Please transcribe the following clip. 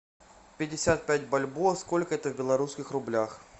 пятьдесят пять бальбоа сколько это в белорусских рублях